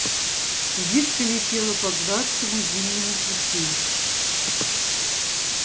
кибитка летела по гладкому зимнему пути